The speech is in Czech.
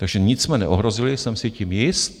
Takže nic jsme neohrozili, jsem si tím jist.